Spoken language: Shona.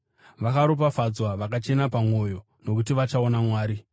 Vakaropafadzwa vakachena pamwoyo, nokuti vachaona Mwari.